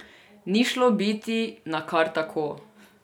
Ni šlo biti na kar tako.